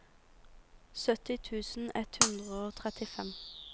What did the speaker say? sytti tusen ett hundre og trettifem